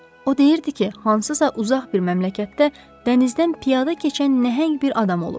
O deyirdi ki, hansısa uzaq bir məmləkdə dənizdən piyada keçən nəhəng bir adam olub.